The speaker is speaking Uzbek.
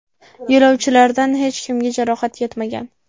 Yo‘lovchilardan hech kimga jarohat yetmagan.